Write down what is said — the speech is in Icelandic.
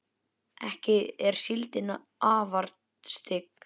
ekki er síldin afar stygg